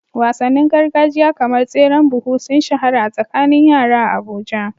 Wasannin gargajiya kamar tseren buhu sun shahara a tsakanin yara a Abuja.